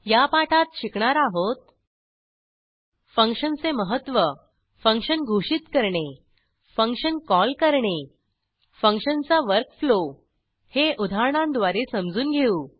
या पाठात शिकणार आहोत फंक्शनचे महत्व फंक्शन घोषित करणे फंक्शन कॉल करणे फंक्शनचा वर्क फ्लो हे उदाहरणांद्वारे समजून घेऊ